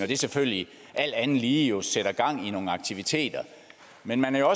det selvfølgelig alt andet lige jo sætter gang i nogle aktiviteter men man er